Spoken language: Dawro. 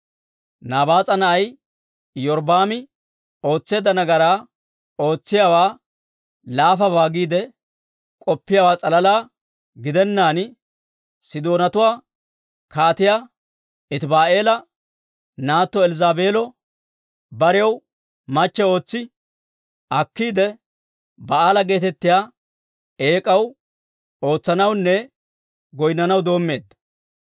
Nabaas'a na'ay Iyorbbaami ootseedda nagaraa ootsiyaawaa laafabaa giide k'oppiyaawaa s'alala gidennaan Sidoonatuwaa Kaatiyaa Etiba'aala naatto Elzzaabeelo barew machcho ootsi akkiide, Ba'aala geetettiyaa eek'aw ootsanawunne goynnanaw doommeedda.